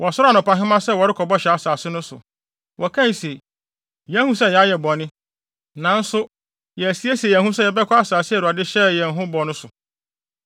Wɔsɔree anɔpahema sɛ wɔrekɔ Bɔhyɛ Asase no so. Wɔkae se, “Yɛahu sɛ yɛayɛ bɔne, nanso yɛasiesie yɛn ho sɛ yɛbɛkɔ asase a Awurade hyɛɛ yɛn ho bɔ no so.”